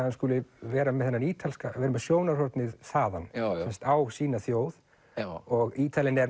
hann skuli vera með þennan ítalska vera með sjónarhornið þaðan á sína þjóð og Ítalinn er